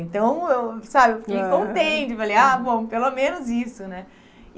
Então, eu, sabe, eu fiquei contente, falei, ah, bom, pelo menos isso, né?